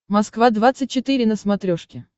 москва двадцать четыре на смотрешке